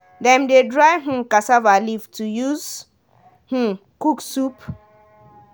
dem dey dry um cassava leaf to use um cook soup